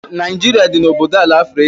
Naijiria dị n'oboala Afrịka.